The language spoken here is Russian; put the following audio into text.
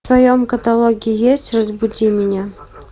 в твоем каталоге есть разбуди меня